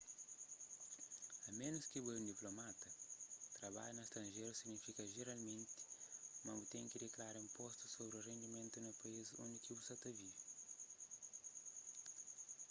a ménus ki bo é un diplomata trabadja na stranjeru signifika jeralmenti ma bu ten ki diklara inpostu sobri rendimentu na país undi ki bu sa ta vive